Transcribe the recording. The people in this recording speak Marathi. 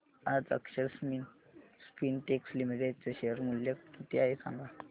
आज अक्षर स्पिनटेक्स लिमिटेड चे शेअर मूल्य किती आहे सांगा